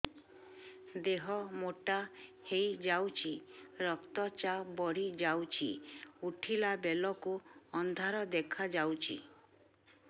ଦେହ ମୋଟା ହେଇଯାଉଛି ରକ୍ତ ଚାପ ବଢ଼ି ଯାଉଛି ଉଠିଲା ବେଳକୁ ଅନ୍ଧାର ଦେଖା ଯାଉଛି